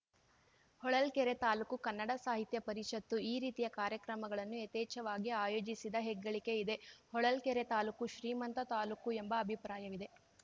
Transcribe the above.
ಹೊಳಲ್ಕೆರೆ ತಾಲೂಕು ಕನ್ನಡ ಸಾಹಿತ್ಯ ಪರಿಷತ್ತು ಈ ರೀತಿಯ ಕಾರ್ಯಕ್ರಮಗಳನ್ನು ಯಥೇಚ್ಚವಾಗಿ ಆಯೋಜಿಸಿದ ಹೆಗ್ಗಳಿಕೆ ಇದೆ ಹೊಳಲ್ಕೆರೆ ತಾಲೂಕು ಶ್ರೀಮಂತ ತಾಲೂಕು ಎಂಬ ಅಭಿಪ್ರಾಯವಿದೆ